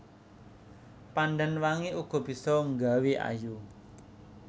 Pandan wangi uga bisa nggawé ayu